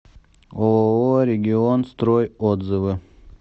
ооо регион строй отзывы